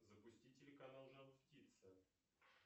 запусти телеканал жар птица